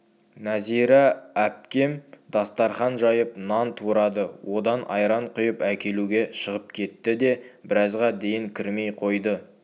нәзира әпкем дастарқан жайып нан турады одан айран құйып әкелуге шығып кетті де біразға дейін кірмей қойды